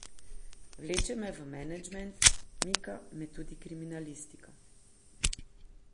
Vleče me v menedžment, mika me tudi kriminalistika.